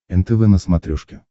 нтв на смотрешке